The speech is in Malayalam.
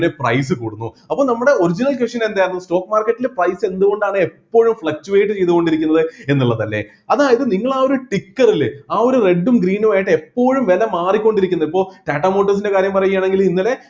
അങ്ങനെ price കൂടുന്നു അപ്പൊ നമ്മടെ original question എന്തായിരുന്നു stock market ൽ price എന്തുകൊണ്ടാണ് എപ്പോഴും fluctuate ചെയ്തുകൊണ്ടിരിക്കുന്നത് എന്നുള്ളതല്ലേ അതായത് നിങ്ങൾ ആ ഒരു ticker ല് ആ ഒരു red ഉം green ഉം ആയിട്ട് എപ്പോഴും വില മാറിക്കൊണ്ടിരിക്കുന്നു ഇപ്പോ ടാറ്റാ motors ൻ്റെ കാര്യം പറയുകയാണെങ്കില് ഇന്നലെ